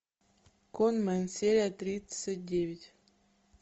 конмэн серия тридцать девять